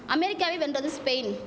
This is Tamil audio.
அமெரிக்காவை வென்றது ஸ்பெயின்